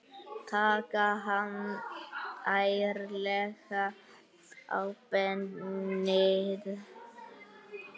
Taka hann ærlega á beinið.